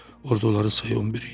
Orda onların sayı on bir idi.